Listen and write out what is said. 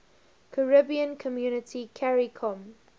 caribbean community caricom